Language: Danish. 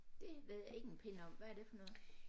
Det ved jeg ikke en pind om hvad er det for noget